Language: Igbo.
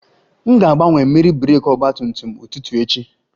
M ga-agbanwe mmiri breeki ọgba tum tum ụtụtụ echi